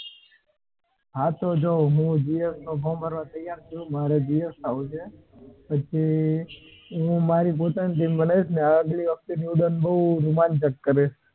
હા તો હું GS નું form ભરવા તૈયાર છુ મારે GS થવું છે હું મારી પોતાની GS બનાવીસ ને અગલી વખતે ની ઉડાન બૌ રોમાંચક કરીશ